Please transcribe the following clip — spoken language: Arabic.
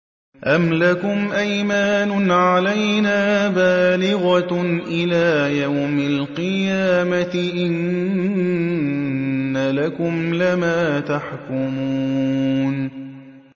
أَمْ لَكُمْ أَيْمَانٌ عَلَيْنَا بَالِغَةٌ إِلَىٰ يَوْمِ الْقِيَامَةِ ۙ إِنَّ لَكُمْ لَمَا تَحْكُمُونَ